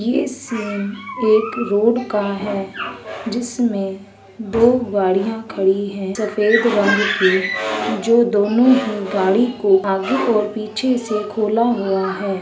ये सीन एक रोड का है जिसमें दो गाड़ियां खड़ी हैं सफेद रंग की जो दोनों ही गाड़ी को आगे और पीछे से खोला हुआ है।